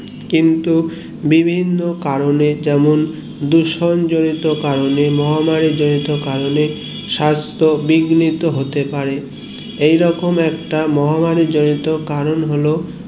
কিন্তু বিভিন্ন কারণে যেমন ধুসন জরিত কারণে মহামারী জড়িত কারণে সাস্থ বিগ্নিত হতে পারে এই রকম একটা মহামারী জড়িত কারণ হলো করোনা ভাইরাস